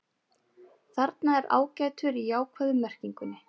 Þarna er ágætur í jákvæðu merkingunni.